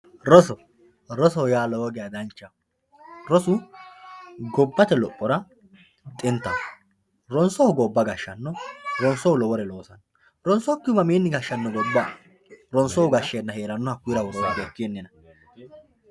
Rosu rosoho yaa lowo gesha danchaho rosu gobate lophora xintaho ronsohu gobba gashano ronsohu lowore loosano ronsokihu mamini gashano gobba ronsohu gashena herano woroni ikinina.